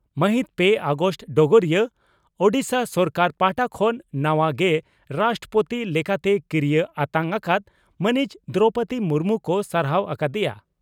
ᱢᱟᱹᱦᱤᱛ ᱯᱮ ᱟᱜᱚᱥᱴ (ᱰᱚᱜᱚᱨᱤᱭᱟᱹ) ᱺ ᱳᱰᱤᱥᱟ ᱥᱚᱨᱠᱟᱨ ᱯᱟᱦᱴᱟ ᱠᱷᱚᱱ ᱱᱟᱣᱟ ᱜᱮ ᱨᱟᱥᱴᱨᱚᱯᱳᱛᱤ ᱞᱮᱠᱟᱛᱮ ᱠᱤᱨᱤᱭᱟᱹ ᱟᱛᱟᱝ ᱟᱠᱟᱫ ᱢᱟᱹᱱᱤᱡ ᱫᱨᱚᱣᱯᱚᱫᱤ ᱢᱩᱨᱢᱩ ᱠᱚ ᱥᱟᱨᱦᱟᱣ ᱟᱠᱟ ᱫᱮᱭᱟ ᱾